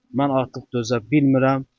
Mən artıq dözə bilmirəm.